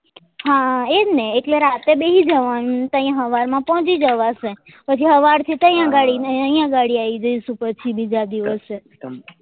હા એ જ એટલે રાતે બેસી જવા નું તો અહિયાં હવાર માં પોચી જવાશે પછી હવાર થી ત્યાં ગાડી અને અહિયાં ગાડી આયી જઈશું પછી બીજા દિવસે